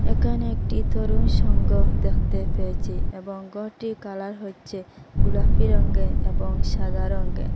একানে একটি তরুণ সংঘ দেখতে পেয়েছি এবং গরটির কালার হচ্ছে গোলাপি রঙ্গের এবং সাদা রঙ্গের।